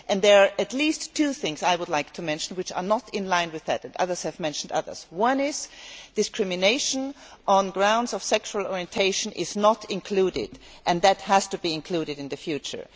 There are at least two things I would like to mention which are not in line with that. Others have mentioned others. The first is that discrimination on grounds of sexual orientation is not included and that has to be included in the future.